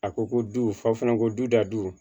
A ko ko du fa fana ko du dadu